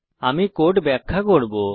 আমি এখন কোড ব্যাখ্যা করব